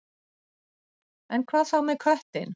En hvað þá með köttinn?